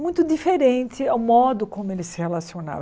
muito diferente ao modo como ele se relacionava.